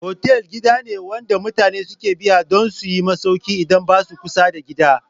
Fotel gida ne wanda mutane suke biya dun suyi masauki idan basa kusa da gida